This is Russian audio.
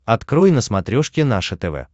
открой на смотрешке наше тв